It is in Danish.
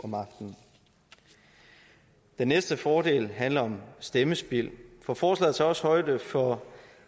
om aftenen det næste fordel handler om stemmespild for forslaget tager også højde for